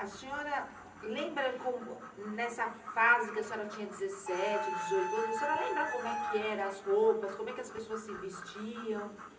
A senhora lembra como, nessa fase que a senhora tinha dezessete, dezoito anos, a senhora lembra como é que era as roupas, como é que as pessoas se vestiam?